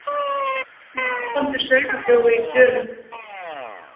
Matvandur sauðaþjófur í Dölum